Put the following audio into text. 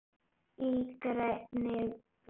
Í grænni blokk